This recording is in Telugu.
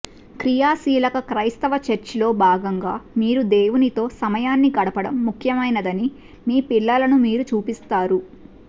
క్రియాశీలక క్రైస్తవ చర్చిలో భాగంగా మీరు దేవునితో సమయాన్ని గడపడం ముఖ్యమైనదని మీ పిల్లలను మీరు చూపిస్తారు